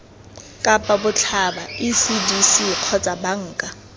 kapa botlhaba ecdc kgotsa banka